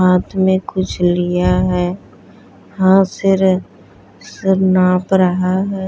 हाथ में कुछ लिया है हाथ नाप रहा है।